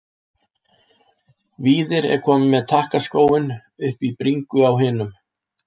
Víðir er kominn með takkaskóinn upp í bringu á hinum.